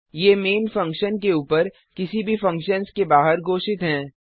ये main function के ऊपर किसी भी फंक्शन्स के बाहर घोषित हैं